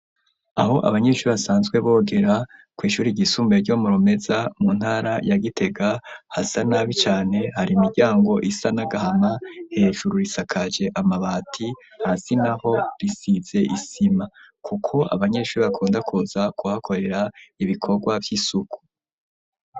Aho abanyeshuri, basanzwe bogera, kw'ishuri ryisumbuye, ryo mu Rumeza, mu ntara ya Gitega, hasa nabi cane; hari imiryango isa n'agahama, hejuru, risakaje amabati, hasi naho, risize isima, kuko abanyeshuri, bakunda kuza kuhakorera, ibikorwa vy'isuku.